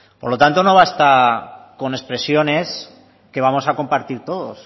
por lo tanto no basta con expresiones que vamos a compartir todos